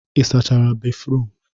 Ị sachara béfrụm?